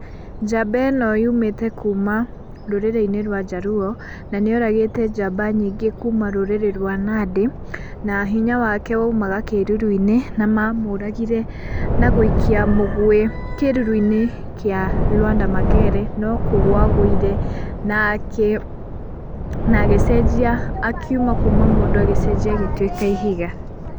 Njamba ĩno yũmĩte kũma rũrĩrĩ-inĩ rwa njaruo, na nĩoragĩte njamba nyĩngĩ kũma rũrĩrĩ rwa nandĩ na hinya wake waũmaga kĩrũrũ-inĩ, na mamũragire na gũikia mũgũe kĩrũrũ-inĩ kĩa Lwanda Magere no kũgwa agũire na akĩ, na agĩcenjia akĩuma kũma mũndũ agĩcenjia agĩtuĩka ihiga.